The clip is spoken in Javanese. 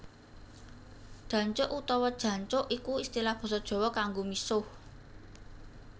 Dancuk utawa Jancuk iku istilah basa Jawa kanggo misuh